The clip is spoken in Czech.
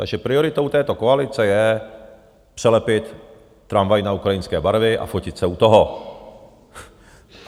Takže prioritou této koalice je přelepit tramvaj na ukrajinské barvy a fotit se u toho.